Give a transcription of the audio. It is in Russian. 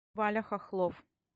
валя хохлов